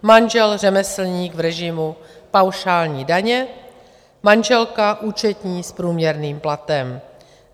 Manžel řemeslník v režimu paušální daně, manželka účetní s průměrným platem.